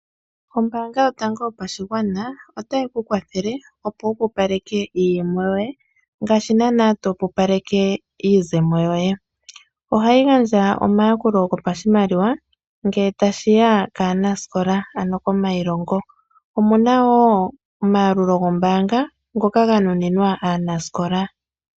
Ombaanga yotango yopashigwana otayi ku kwathele opo wupupaleke iiyemo yoye, ngaashi naana topupaleke iizemo yoye. Ohayi gandja omayakulo gopashimaliwa, ngele tashiya kaanasikola, ano komailongo. Omuna wo omayalulo gombaanga, ngoka ga nuninwa aanasikola.